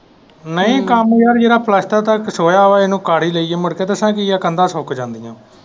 ਨਹੀਂ ਕੰਮ ਯਾਰ ਜਿਹੜਾ plaster ਦਾ ਥੋੜਾ ਹੈ ਉਹਨੂੰ ਕਰ ਹੀ ਦਈਏ ਮੁੜ ਕੇ ਦਸਾਂ ਕੀ ਹੈ ਕੰਧਾਂ ਸੁੱਕ ਜਾਂਦੀਆਂ।